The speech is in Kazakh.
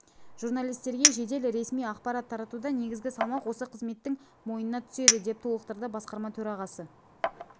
журналистерге жедел ресми ақпарат таратуда негізгі салмақ осы қызметтің мойнына түседі деп толықтырды басқарма төрағасы